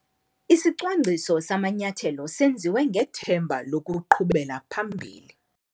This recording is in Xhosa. Isicwangciso samanyathelo senziwe ngethemba lokuqhubela phambili.